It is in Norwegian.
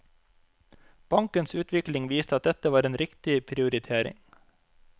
Bankens utvikling viste at dette var en riktig prioritering.